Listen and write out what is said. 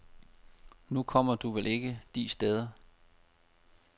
Nu kommer du vel ikke de steder.